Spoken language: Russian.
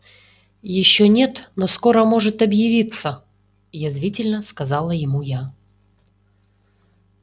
ещё нет но скоро может объявиться язвительно сказала ему я